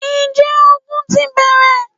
Ǹjẹ́ ogun ti bẹ̀rẹ̀?